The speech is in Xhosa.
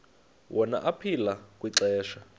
wona aphila kwixesha